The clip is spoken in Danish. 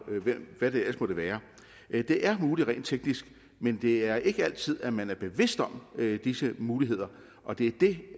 hvad det ellers måtte være det er muligt rent teknisk men det er ikke altid man er bevidst om disse muligheder og det er det